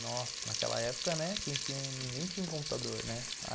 Nossa, naquela época, né, ninguém tinha um computador.